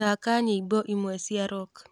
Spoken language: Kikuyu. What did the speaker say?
thaaka nyĩmbo imwe cia rock